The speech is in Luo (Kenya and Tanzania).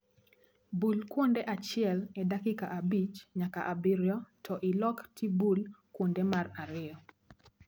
Bul kuonde achiel e dakika abich nyaka abirio to ilok tibul kuonde mar ariyo